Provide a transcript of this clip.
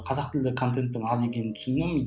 қазақ тілді контентің аз екенін түсіндім